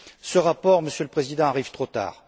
Ce rapport, Monsieur le Président, arrive trop tard